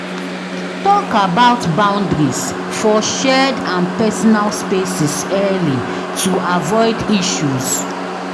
Talk about boundaries for shared and personal spaces early to avoid issues.